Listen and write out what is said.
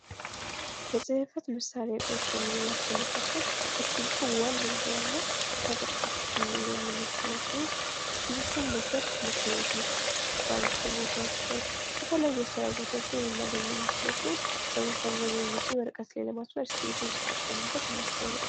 የፅህፈት መሳርያ እቃዎች ከምንላቸው መካከል እስክርቢቶ ዋነኛውና ተጠቃሽ ልንል የምንችል ሲሆን እስክርቢቶን በብዛት ትምህርት ቤት ውስጥ ባንክ ቦታዎች ላይ የተለያዩ የስራ ቦታዎች ላይ ልናገኘው የምንችል ሲሆን ሰዎች አብዛኛውን ጊዜ ወረቀት ላይ ለማስፈር እስክርቢቶን ሲጠቀሙበት እናስታውላለን።